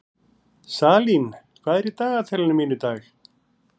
Salín, hvað er í dagatalinu mínu í dag?